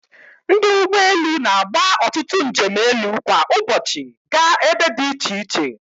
Ndị ụgbọ elu na-agba ọtụtụ njem elu kwa ụbọchị gaa ebe dị iche iche.